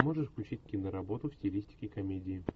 можешь включить киноработу в стилистике комедии